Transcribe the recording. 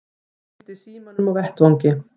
Gleymdi símanum á vettvangi